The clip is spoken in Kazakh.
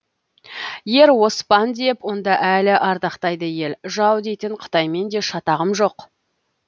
ер оспан деп онда әлі ардақтайды ел жау дейтін қытаймен де шатағым жоқ